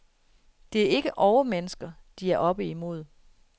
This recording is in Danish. Det er ikke overmennesker, de er oppe imod.